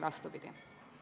Austatud Riigikogu esimees!